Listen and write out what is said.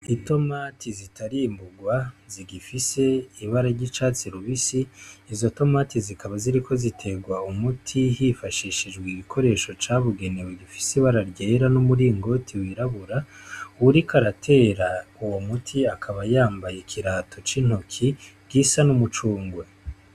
I tomati zitarimburwa zigifise ibara ry'icatse lubisi izo tomati zikaba ziriko ziterwa umuti hifashishijwe igikoresho cabugenewe igifise bararyera n'umuringoti wirabura uwuriko aratera uwo muti akaba yambaye ikirato c'intoki ryisa n'umucungwe.